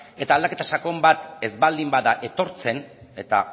eta aldaketa sakon bat ez baldin bada etortzen eta